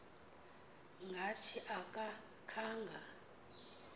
ngathi aka khanga